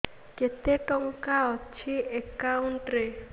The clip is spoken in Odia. କେତେ ଟଙ୍କା ଅଛି ଏକାଉଣ୍ଟ୍ ରେ